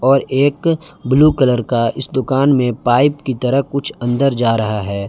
और एक blue colour का इस दुकान मे पाइप की तरह कुछ अंदर जा रहा है।